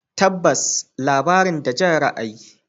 Tabbas, labarin da Jan ra'ayi.